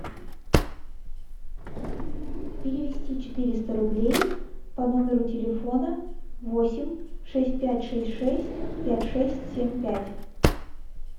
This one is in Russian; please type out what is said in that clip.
перевести четыреста рублей по номеру телефона восемь шесть пять шесть шесть пять шесть семь пять